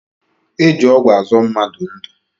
E ji ọgwụ azọ mmadụ ndu